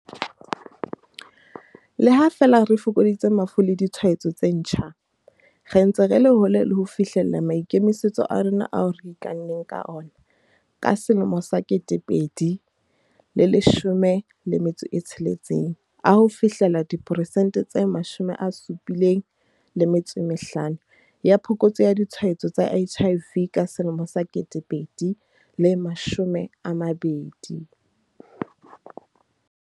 Le ha feela re fokoditse mafu le ditshwaetso tse ntjha, re ntse re le hole le ho fihlella maikemisetso a rona ao re ikanneng ka ona ka 2016 a ho fihlella diperesente tse 75 ya phokotso ya ditshwaetso tsa HIV ka 2020.